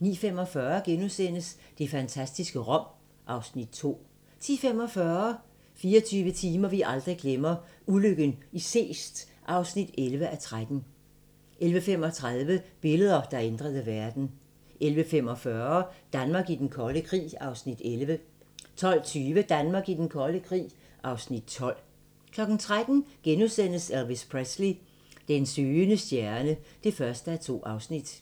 09:45: Det fantastiske Rom (Afs. 2)* 10:45: 24 timer, vi aldrig glemmer: Ulykken i Seest (11:13) 11:35: Billeder, der ændrede verden 11:45: Danmark i den kolde krig (Afs. 11) 12:20: Danmark i den kolde krig (Afs. 12) 13:00: Elvis Presley: Den søgende stjerne (1:2)*